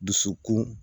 Dusukun